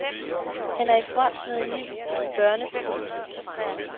Han er i front med en ny børnepolitik.